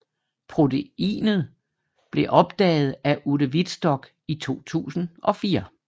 Proteinet blev opdaget af Ute Wittstock i 2004